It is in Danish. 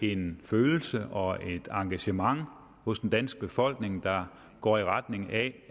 er en følelse og et engagement hos den danske befolkning der går i retning af